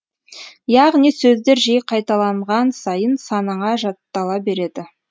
яғни сөздер жиі қайталанған сайын санаңа жаттала береді